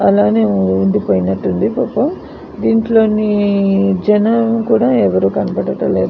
అలానే ఉండీ పోయినట్టు ఉంది. దింట్లో జనాలు కూడా ఎవరు కనబడడలేదు.